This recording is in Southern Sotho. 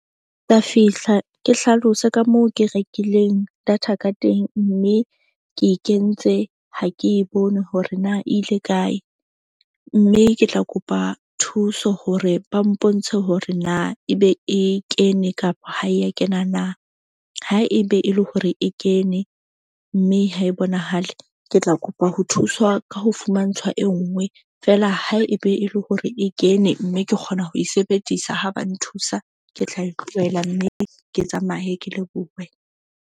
Ka fihla ke hlalose ka moo ke rekileng data ka teng. Mme ke e kentse ha ke e bone hore na e ile kae, mme ke tla kopa thuso hore ba mpontshe hore na ebe e kene kapa ha e ya kena na. Ha ebe e le hore e kene, mme ha e bonahale ke tla kopa ho thuswa ka ho fumantshwa e nngwe feela ha e be e le hore e kene. Mme ke kgona ho e sebedisa ha ba nthusa. Ke tla e tlohela mme ke tsamaye ke lebohe.